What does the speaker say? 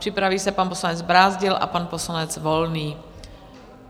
Připraví se pan poslanec Brázdil a pan poslanec Volný.